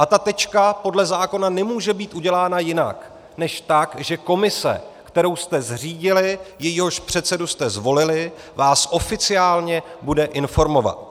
A ta tečka podle zákona nemůže být udělána jinak než tak, že komise, kterou jste zřídili, jejíhož předsedu jste zvolili, vás oficiálně bude informovat.